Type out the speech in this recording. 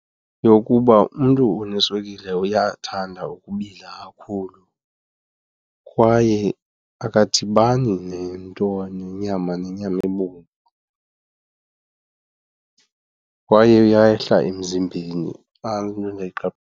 Yokuba umntu oneswekile uyathanda ukubila kakhulu kwaye akadibani nento nenyama, nenyama ebomvu. Kwaye uyehla emzimbeni, nantso into .